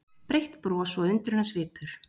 Breitt bros og undrunarsvipur.